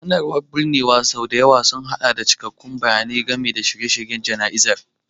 Sanarwar na binnewa sau da yawa sun haɗa da cikakkun bayanai game da shirye-shiryen jana'izar.